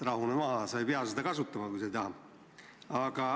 Rahune maha, sa ei pea seda kasutama, kui sa ei taha.